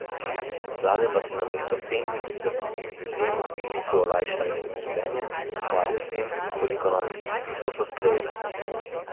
Vlade pa se namesto s tem, da bi ljudem in biznisu olajšale življenje, hvalijo s tem, koliko novih predpisov so sprejele.